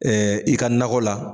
Ɛɛ i ka nakɔ la